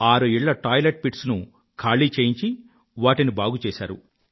ఆరు ఇళ్ళ టాయిలెట్ pitsను ఖాళీ చేయించి వాటిని బాగుచేశారు